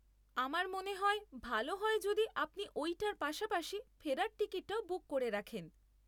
আমার মনে হয়, ভালো হয় যদি আপনি ওইটার পাশাপাশি ফেরার টিকিটটাও বুক করে রাখেন।